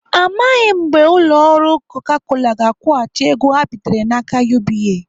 Amaghị mgbe ụlọ ọrụ Coca Cola ga-akwụghachi ego ha bitere n'aka UBA.